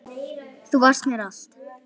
Þú varst mér allt.